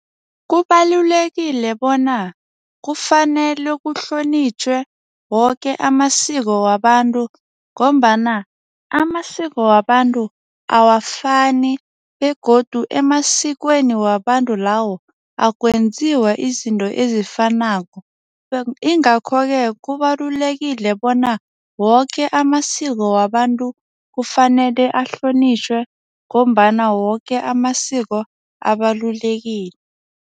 Kubalulekile bona kufanele kuhlonitjhwe woke amasiko wabantu ngombana amasiko wabantu awafani begodu emasikweni wabantu lawo, akwenziwa izinto ezifanako ingakho-ke, kubalulekile bona woke amasiko wabantu kufanele ahlonitjhwe ngombana woke amasiko abalulekile.